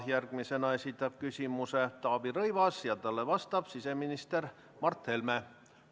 Järgmisena esitab küsimuse Taavi Rõivas ja talle vastab siseminister Mart Helme.